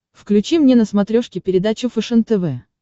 включи мне на смотрешке передачу фэшен тв